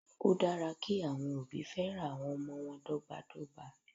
Ó dára kí àwọn òbí féràn àwọn ọmọ wọn dọ́gba dọ́gba.